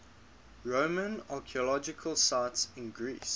roman archaeological sites in greece